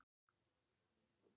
Hann klappaði fyrir mér.